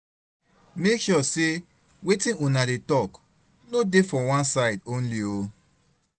mek sure sey wetin una dey tok no dey for one side only o